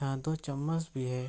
यहा दो चम्मच भी है।